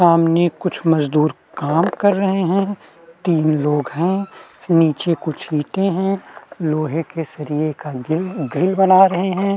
सामने कुछ मजदूर काम कर रहें हैं तीन लोंग हैं नीचे कुछ ईटे हैं लोहे के सरिये का गिल ग्रिल बना रहें हैं।